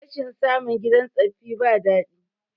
rashin samun gidan tsafaffi ba dadi